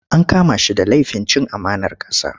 An kama shi da lafin cin amanar ƙasa.